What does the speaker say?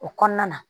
O kɔnɔna na